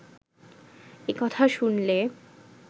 এ কথা শুনলে